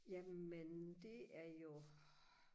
jamen det er jo